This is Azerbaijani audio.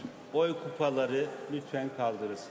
Səsvermə qutuları zəhmət olmasa qaldırılsın.